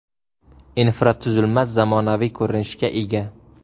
Infratuzilma zamonaviy ko‘rinishga ega.